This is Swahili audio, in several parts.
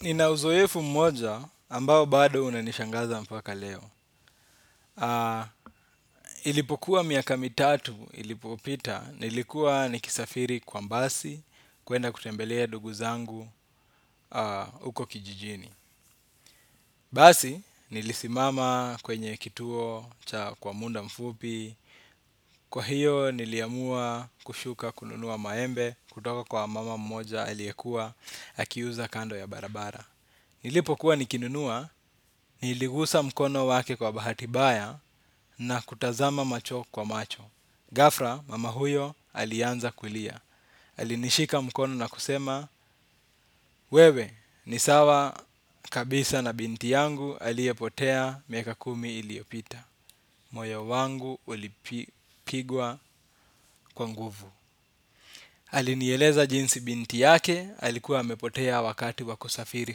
Nina uzoefu mmoja ambao bado unanishangaza mpaka leo. Ilipokuwa miaka mitatu ilipopita nilikuwa nikisafiri kwa mbasi kuenda kutembelea dugu zangu uko kijijini. Basi, nilisimama kwenye kituo, cha kwa munda mfupi, kwa hiyo niliamua kushuka kununua maembe, kutoka kwa mama mmoja aliekua, akiuza kando ya barabara. Nilipokuwa nikinunua, niligusa mkono wake kwa bahati baya na kutazama macho kwa macho. Gafra, mama huyo, alianza kulia. Alinishika mkono na kusema, wewe, ni sawa kabisa na binti yangu aliepotea miaka kumi iliopita. Moya wangu ulipigwa kwa nguvu. Alinieleza jinsi binti yake, alikuwa amepotea wakati wa kusafiri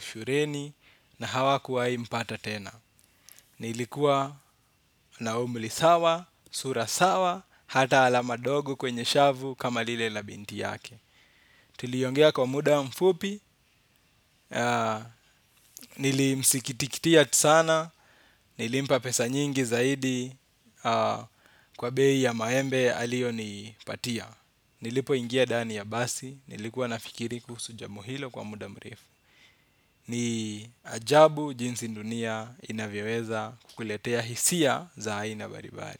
shureni, na hawa kuwai mpata tena. Nilikuwa na umli sawa, sura sawa, hata alama dogo kwenye shavu kama lile na binti yake. Tuliongea kwa muda mfupi, nilimsikitikitia tisana, nilimpa pesa nyingi zaidi kwa bei ya maembe alionipatia. Nilipo ingia dani ya basi, nilikuwa nafikiri kuhusu jambo hilo kwa muda mrefu. Ni ajabu jinsi dunia inavyoweza kukuletea hisia za haina baribari.